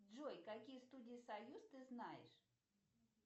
джой какие студии союз ты знаешь